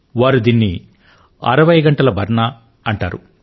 వారు దీనిని 60గంటల బర్ నా అంటారు